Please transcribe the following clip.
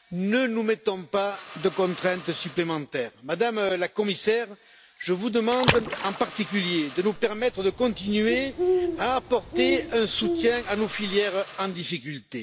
Ne nous mettons pas de contraintes supplémentaires, Madame la Commissaire, je vous demande, en particulier, de nous permettre de continuer à apporter un soutien à nos filières en difficulté.